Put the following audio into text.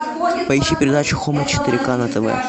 поищи передачу хоум четыре к на тв